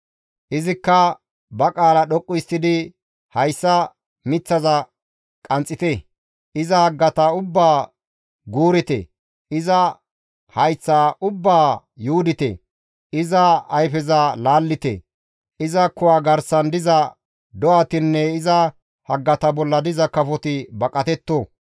Izikka ba qaala dhoqqu histtidi, ‹Hayssa miththaza qanxxite; iza haggata ubbaa guurite; iza hayththa ubbaa yuudite; iza ayfeza laallite; iza kuwa garsan diza do7atinne iza haggata bolla diza kafoti baqatetto.